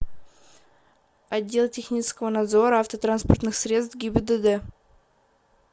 отдел технического надзора автотранспортных средств гибдд